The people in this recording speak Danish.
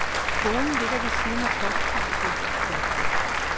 Skolen ligger ved siden af posthuset. punktum